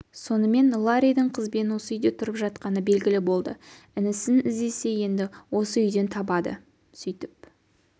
сонымен ларридің қызбен осы үйде тұрып жатқаны белгілі болды інісін іздесе енді осы үйден табады сөйтіп